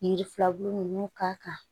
Yiri filaburu ninnu k'a kan